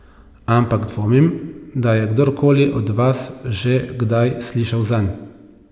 Ampak dvomim, da je kdorkoli od vas že kdaj slišal zanj.